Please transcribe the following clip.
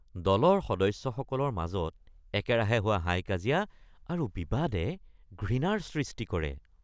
দলৰ সদস্যসকলৰ মাজত একেৰাহে হোৱা হাই-কাজিয়া আৰু বিবাদে ঘৃণাৰ সৃষ্টি কৰে